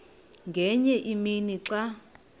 ngenye imini xa